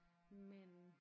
Men